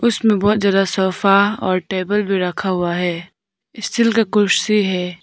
उसमें बहुत ज्यादा सोफा और टेबल भी रखा हुआ है स्टील का कुर्सी है।